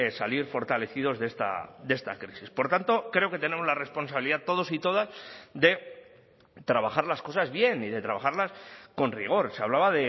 salir fortalecidos de esta crisis por tanto creo que tenemos la responsabilidad todos y todas de trabajar las cosas bien y de trabajarlas con rigor se hablaba